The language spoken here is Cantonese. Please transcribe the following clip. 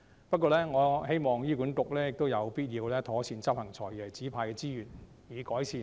不過，我希望醫管局妥善運用"財爺"指派的資源，以改善服務。